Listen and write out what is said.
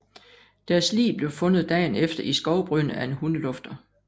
Deres lig blev fundet dagen efter i skovbrynet af en hundelufter